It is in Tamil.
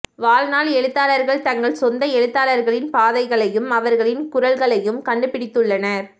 வாழ்நாள் எழுத்தாளர்கள் தங்கள் சொந்த எழுத்தாளர்களின் பாதைகளையும் அவர்களின் குரல்களையும் கண்டுபிடித்துள்ளனர்